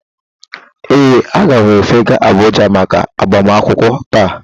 Ee, aga m efega Abuja maka agbamakwụkwọ taa